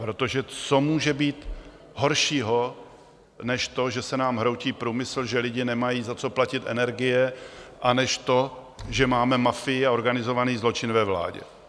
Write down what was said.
Protože co může být horšího než to, že se nám hroutí průmysl, že lidé nemají za co platit energie, a než to, že máme mafii a organizovaný zločin ve vládě?